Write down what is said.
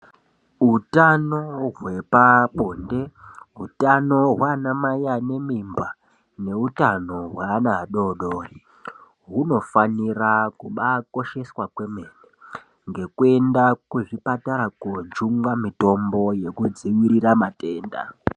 Utano hwepabonde, utano hwaanamai anemimba neutano hweana adoodori hunofanira kubaakosheswa kwemene. Ngekuenda kuzvipatara koojungwa mitombo yekudzivirira matenda